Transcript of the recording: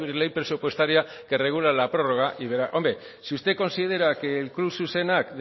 ley presupuestaria que regula la prórroga y verá hombre si usted considera que el club zuzenak